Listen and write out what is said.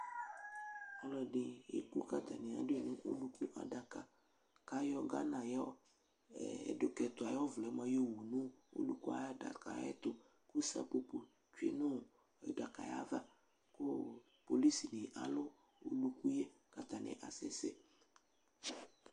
Ɔlɔdi eku k'atani aɖu yi olukuadka k'ayɔ Ghana yɔɔ ɛdʋk'ɛtu ayʋ ɔvlɛ mía tɔwu nʋ oluku yɛ adaka yɛtʋ kʋ sapoponi tsue nʋ adaka yɛ ayava kʋ policini alu oluku yɛ k'atani asɛsɛ